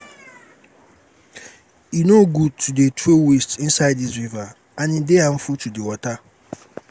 e no good to dey throw waste inside dis river and e dey harmful to the water